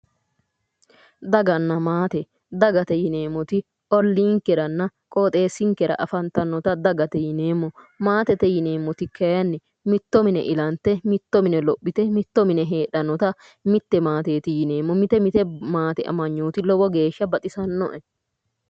Daganna maate daganna maate yineemoti oliikeranna qooxesinikera afanitannota dagate yineemo maatete yineemoti kayinni mitto mine ilanite mitto mine lophite mitto mine heedhanota mitte maateeti yineemo mite mite maate amanyooti lowo geesha baxisannoe